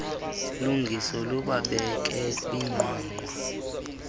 lungiso lubabeke kwinqwanqwa